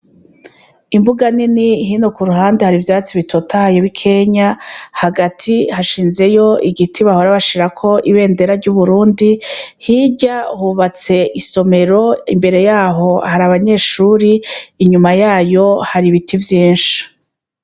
Imbuga nini hino ku ruhande hari ivyatsi bitotahayo b'i kenya hagati hashinzeyo igiti bahorabashirako ibendera ry'uburundi hirya hubatse isomero imbere yaho hari abanyeshuri inyuma yayo hari ibiti vyinshi.